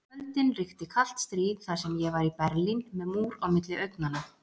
Á kvöldin ríkti kalt stríð þar sem ég var Berlín, með múr á milli augnanna.